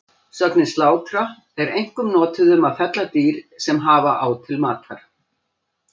Sögnin slátra er einkum notuð um að fella dýr sem hafa á til matar.